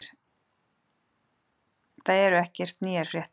Það eru ekkert nýjar fréttir.